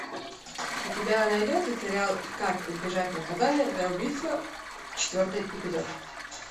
у тебя найдется сериал как избежать наказания за убийство четвертый эпизод